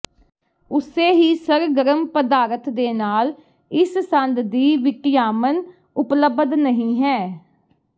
ਉਸੇ ਹੀ ਸਰਗਰਮ ਪਦਾਰਥ ਦੇ ਨਾਲ ਇਸ ਸੰਦ ਦੀ ਿਵਟਾਿਮਨ ਉਪਲਬਧ ਨਹੀ ਹੈ